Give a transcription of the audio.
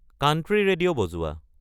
country radio বজোৱা